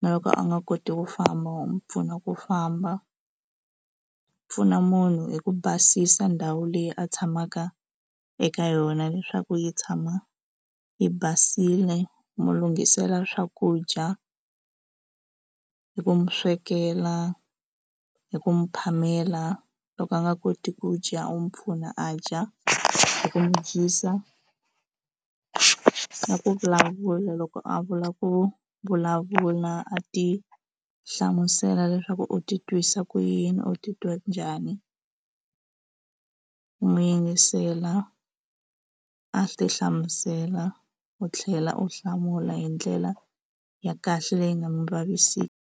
na loko a nga koti ku famba wa n'wi pfuna ku famba pfuna munhu hi ku basisa ndhawu leyi a tshamaka eka yona leswaku yi tshama yi basile u mu lunghisela swakudya hi ku mi swekela hi ku n'wi phamela loko a nga koti ku dya u n'wi pfuna a dya hi ku mu dyisa na ku vulavula loko a vula ku vulavula a ti hlamusela leswaku u ti twisa ku yini u titwa njhani n'wi yingisela a swi ti hlamusela u tlhela u hlamula hi ndlela ya kahle leyi nga mu vaviseki.